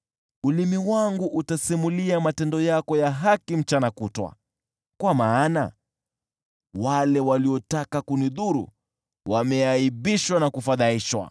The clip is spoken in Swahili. Ulimi wangu utasimulia matendo yako ya haki mchana kutwa, kwa maana wale waliotaka kunidhuru, wameaibishwa na kufadhaishwa.